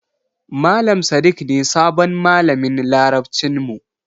Malam Sadik ne sabon malamin Larabcin mu.